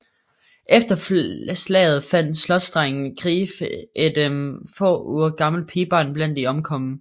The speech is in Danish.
Efter slaget fandt slotsdegnen Greif et få uger gammelt pigebarn blandt de omkomne